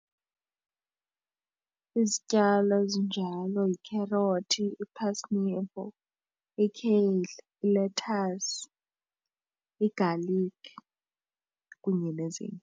Izityalo ezinjalo yikherothi ikheyisi, ilethasi, igalikhi kunye nezinye.